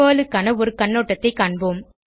Perl க்கான ஒரு கண்ணோட்டத்தைக் காண்போம்